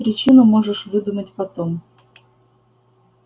причину можешь выдумать потом